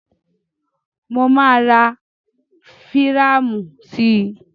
Mo máa ra fírámù sí.